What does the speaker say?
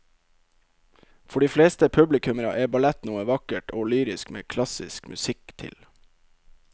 For de fleste publikummere er ballett noe vakkert og lyrisk med klassisk musikk til.